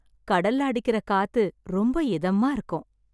கடல்ல அடிக்கிற காத்து ரொம்ப இதமா இருக்கும்